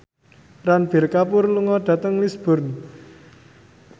Ranbir Kapoor lunga dhateng Lisburn